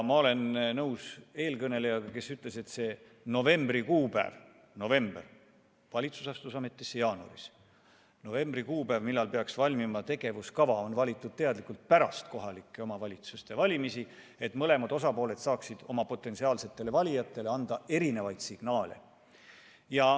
Ma olen nõus eelkõnelejaga, kes ütles, et see novembri kuupäev , kui peaks valmima tegevuskava, on valitud teadlikult pärast kohalike omavalitsuste valimisi, et mõlemad osapooled saaksid oma potentsiaalsetele valijatele anda erinevaid signaale.